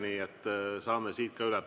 Nii et saame siit ka üle.